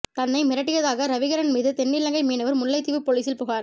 தன்னை மிரட்டியதாக ரவிகரன் மீது தென்னிலங்கை மீனவர் முல்லைத்தீவு பொலிசில் புகார்